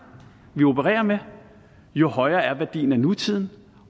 vi opererer med jo højere er værdien af nutiden